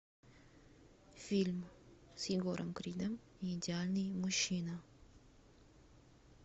фильм с егором кридом идеальный мужчина